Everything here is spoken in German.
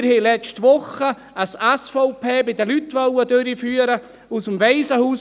Wir haben letzte Woche auf dem Waisenhausplatz ein «SVP bi de Lüt» durchführen wollen.